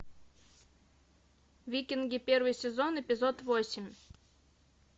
викинги первый сезон эпизод восемь